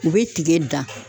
U be tigɛ dan